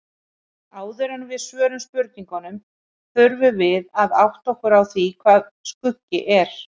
Áður en við svörum spurningunni þurfum við að átta okkur á því hvað skuggi er.